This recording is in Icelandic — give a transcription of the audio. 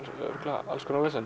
örugglega alls konar vesen